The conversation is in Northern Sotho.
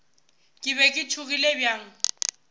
ke be ke tšhogile bjang